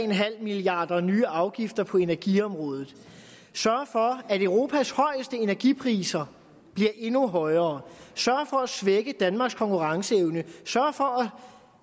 milliard kroner nye afgifter på energiområdet sørger for at europas højeste energipriser bliver endnu højere sørger for at svække danmarks konkurrenceevne sørger for